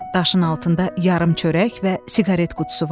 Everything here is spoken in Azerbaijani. Daşın altında yarım çörək və siqaret qutusu vardı.